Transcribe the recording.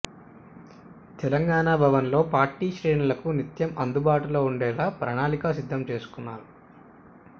తెలంగాణభవన్లో party శ్రేణులకు నిత్యం అందుబాటులో ఉండేలా ప్రణాళిక సిద్ధం చేసుకున్నారు